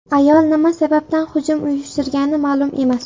Ayol nima sababdan hujum uyushtirgani ma’lum emas.